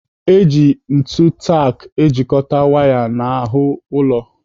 Eji ntu tak ejikọta waya n'ahụ ụlọ.